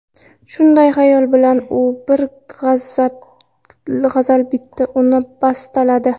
Shunday xayol bilan, u bir g‘azal bitdi, uni bastaladi.